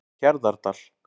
Hjarðardal